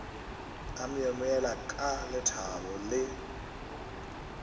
a myemyela ka lethabo le